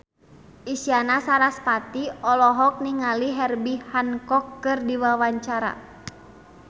Isyana Sarasvati olohok ningali Herbie Hancock keur diwawancara